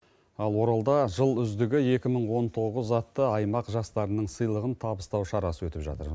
ал оралда жыл үздігі екі мың он тоғыз атты аймақ жастарынын сыйлығын табыстау шарасы өтіп жатыр